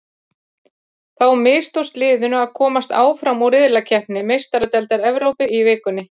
Þá mistókst liðinu að komast áfram úr riðlakeppni Meistaradeildar Evrópu í vikunni.